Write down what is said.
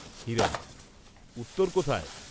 উত্তর কোথায়?